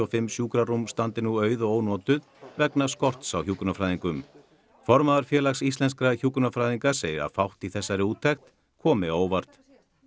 fimm sjúkrarúm standi nú auð og ónotuð vegna skorts á hjúkrunarfræðingum formaður Félags íslenskra hjúkrunarfræðinga segir að fátt í þessari úttekt komi á óvart